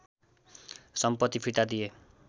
सम्पति फिर्ता दिए